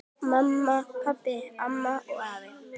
Mamma, pabbi, amma og afi.